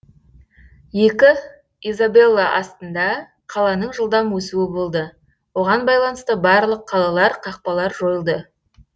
екі изабелла астында қаланың жылдам өсуі болды оған байланысты барлық қалалар қақпалар жойылды